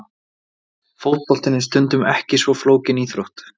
Fótboltinn er stundum ekki svo flókin íþrótt!!!